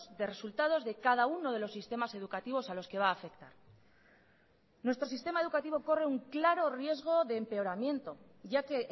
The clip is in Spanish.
de resultados de cada uno de los sistemas educativos a los que va a afectar nuestro sistema educativo corre un claro riesgo de empeoramiento ya que